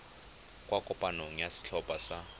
kwa kopanong ya setlhopha sa